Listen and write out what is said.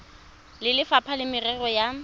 le lefapha la merero ya